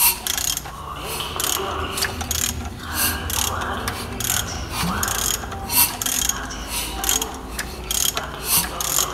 ọ̀rẹ́ kì í yọ̀rẹ́ ààrẹ buhari àti buhari àti tinubu pàdé ní london